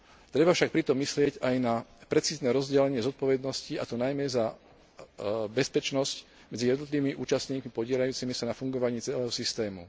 Treba však pritom myslieť aj na precízne rozdelenie zodpovednosti, a to najmä za bezpečnosť medzi jednotlivými účastníkmi podieľajúcimi sa na fungovaní celého systému.